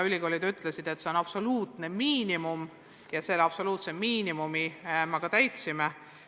Ülikoolid ütlesid, et see on absoluutne miinimum ja selle absoluutse miinimumi me ka tagame.